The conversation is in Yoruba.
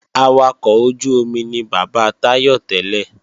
Awakọ̀ ojú-omi ni bàbá Táyọ̀ tẹ́lẹ̀